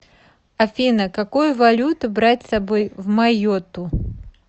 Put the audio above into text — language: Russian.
афина какую валюту брать с собой в майотту